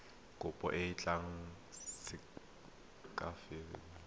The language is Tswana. kopo e tla sekasekiwa ka